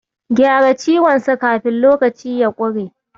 Gyara ciwonsa kafin lokaci ya ƙure.